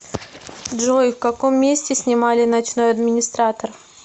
джой в каком месте снимали ночной администратор